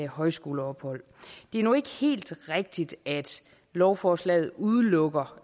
højskoleophold det er nu ikke helt rigtigt at lovforslaget udelukker